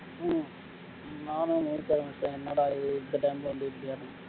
ஹம் நானும் ஊருகாரன் ஒருத்தனும் என்னடா இது இந்த time ல வந்து இப்படியா